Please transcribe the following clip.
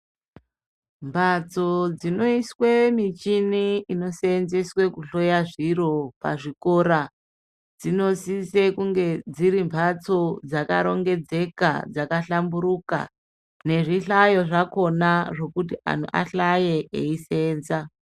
Mbatso dzinoiswe michini inoseenzeswe kuhloya zviro pazvikora dzinosise kunge dziri mbatso dzakarongedzeka, dzakahlamburuka nezvihlayo zvakhona zvekuti antu ahlaye eiseenza.